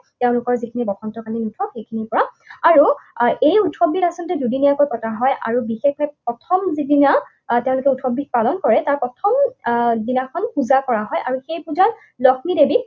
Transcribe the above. তেওঁলোকৰ যিখিনি বসন্তকালীন উৎসৱ, সেইখিনিৰ পৰা আৰু এই উৎসৱবিধ আচলতে দুদিনীয়াকৈ পতা হয় আৰু বিশেষভাৱে প্ৰথম যিদিনা আহ তেওঁলোকে উৎসৱবিধ পালন কৰে। তাৰ প্ৰথম আহ দিনাখন পূজা কৰা হয় আৰু সেই পূজাত লক্ষ্মীদেৱীক